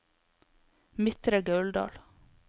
Midtre Gauldal